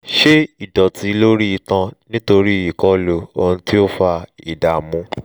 ṣé ìdọ̀tí lórí itan nítorí ìkọlù ohun tí ó fa ìdààmú?